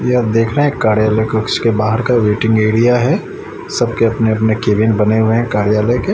यह देखा है कार्यालय कक्ष के बाहर का वेटिंग एरिया है सबके अपने अपने केबिन बने है कार्यालय के।